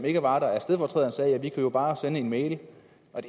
ikke var der at vi jo bare kunne sende en mail det